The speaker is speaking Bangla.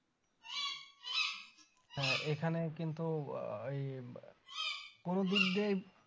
হ্যাঁ এখানে কিন্তু আহ এই কোনো দিক দিয়ে